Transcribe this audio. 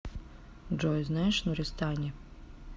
джой знаешь нуристани